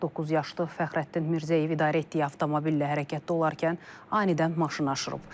49 yaşlı Fəxrəddin Mirzəyev idarə etdiyi avtomobillə hərəkətdə olarkən anidən maşını aşırıb.